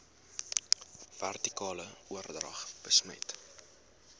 vertikale oordrag besmet